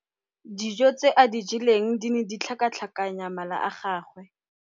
Atamelang o ne a nwa bojwala kwa ntlong ya tlelapa maobane.